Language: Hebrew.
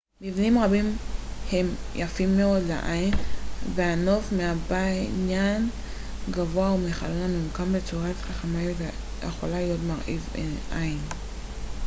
מבנים רבים הם יפים מאוד לעין והנוף מבניין גבוה או מחלון הממוקם בצורה חכמה יכול להיות מרהיב עין